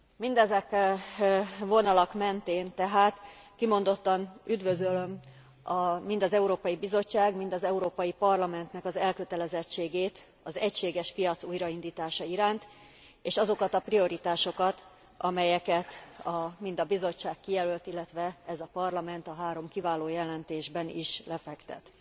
Mindezen vonalak mentén tehát kimondottan üdvözölöm mind az Európai Bizottság, mind az Európai Parlamentnek az elkötelezettségét az egységes piac újraindítása iránt. És azokat a prioritásokat, amelyeket mind a Bizottság kijelölt, illetve ez a Parlament a három kiváló jelentésben is lefektet.